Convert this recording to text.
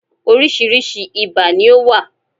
Oríṣiríṣi ibà ni ó wà.